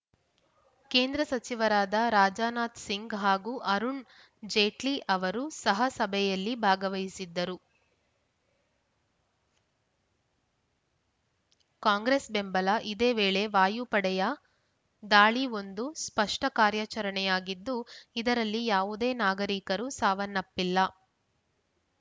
ಕೇಂದ್ರ ಸಚಿವರಾದ ರಾಜಾನಾಥ್‌ ಸಿಂಗ್‌ ಹಾಗೂ ಅರುಣ್‌ ಜೇಟ್ಲಿ ಅವರು ಸಹ ಸಭೆಯಲ್ಲಿ ಭಾಗವಹಿಸಿದ್ದರು ಕಾಂಗ್ರೆಸ್‌ ಬಂಬಲ ಇದೇ ವೇಳೆ ವಾಯು ಪಡೆಯ ದಾಳಿ ಒಂದು ಸ್ಪಷ್ಟಕಾರ್ಯಾಚರಣೆಯಾಗಿದ್ದು ಇದರಲ್ಲಿ ಯವುದೇ ನಾಗರಿಕರು ಸಾವನ್ನಪ್ಪಿಲ್ಲ